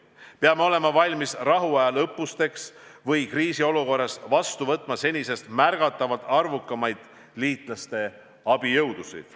Peame olema valmis rahuajal õppusteks ja ka kriisiolukorras vastu võtma senisest märgatavalt arvukamaid liitlaste abijõudusid.